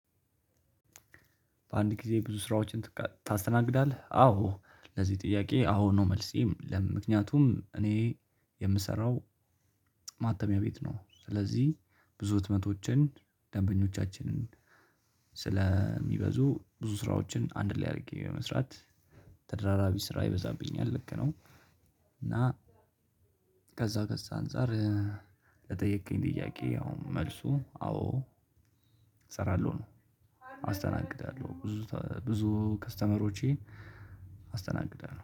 በአንድ? ጊዜ ብዙ ስራዎችን ታስተናግዳለህ አዎ ለዚህ ጥያቄ አዎ ነው መልሴ ምክንያቱም እኔ የምሰራው ማተሚያ ቤት ነው ስለዚህ ብዙ ህትመቶችን ደንበኞቻችንን ስለሚበዙ ብዙ ስራዎችን አንድ ላይ አድርጌ በመስራት ተደራራቢ ስራ ይበዛብኛል ልክ ነው። እና ከዛ ከዛ አንፃር ለጠየከኝ ጥያቄ አሁን መልሱ አዎ እሰራለሁ ነው። አስተናግዳለሁ ብዙ ብዙ ከስተመሮቼን። አስተናግዳለሁ።